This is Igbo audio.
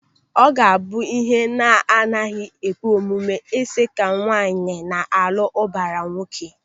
Ọ ga a bụ ihe na-agaghị ekwe omume ịsị ka nwaanyị na-alụ ụbara nwoke.